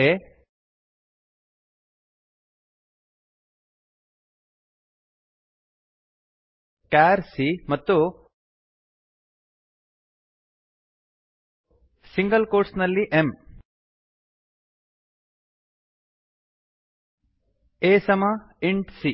int ಆ int a char c char c ಸಮ single quotes ನಲ್ಲಿ m ಎಮ್ a ಎ ಸಮ c int C